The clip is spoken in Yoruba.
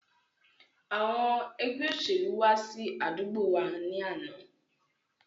Àwọn Ẹgbẹ́ olóṣèlú wá sí àdúgbò wá ní àná